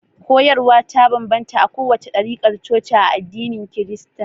Koyarwa ta banbanta a kowace ɗarikar coci a addinin kirista